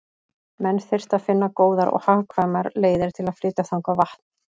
Menn þyrftu að finna góðar og hagkvæmar leiðir til að flytja þangað vatn.